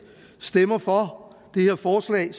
stemmer for det her forslag